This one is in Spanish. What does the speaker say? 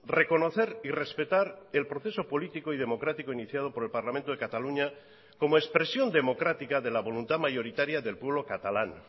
reconocer y respetar el proceso político y democrático iniciado por el parlamento de cataluña como expresión democrática de la voluntad mayoritaria del pueblo catalán